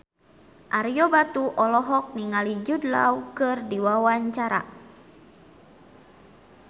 Ario Batu olohok ningali Jude Law keur diwawancara